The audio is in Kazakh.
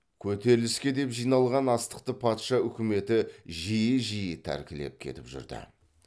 көтеріліске деп жиналған астықты патша үкіметі жиі жиі тәркілеп кетіп жүрді